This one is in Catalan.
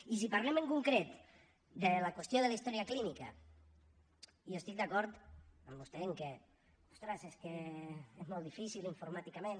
i si parlem en concret de la qüestió de la història clínica jo estic d’acord amb vostè en que ostres és que és molt difícil informàticament